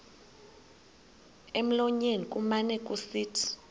emlonyeni kumane kusithi